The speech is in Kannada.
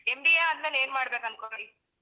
MBA ಆದ್ಮೇಲೆ ಏನ್ಮಾಡ್ಬೇಕು ಅನ್ಕೊಂಡಿ?